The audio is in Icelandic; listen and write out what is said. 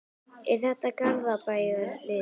Er þetta ár Garðabæjarliðsins?